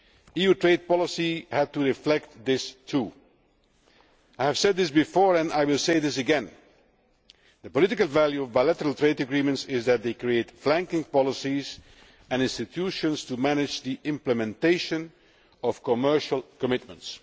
EU trade policy had to reflect this too. I have said this before and I will say it again the political value of bilateral trade agreements is that they create flanking policies and institutions to manage the implementation of commercial commitments.